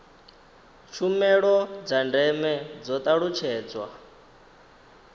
tshumelo dza ndeme dzo talutshedzwa